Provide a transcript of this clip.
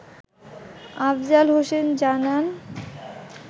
আফজাল হোসেন জানান